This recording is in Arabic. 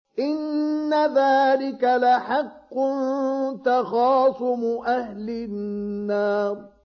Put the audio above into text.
إِنَّ ذَٰلِكَ لَحَقٌّ تَخَاصُمُ أَهْلِ النَّارِ